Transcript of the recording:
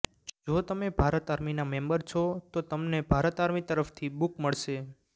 જો તમે ભારત આર્મીના મેમ્બર છો તો તમને ભારત આર્મી તરફથી બુક મળશે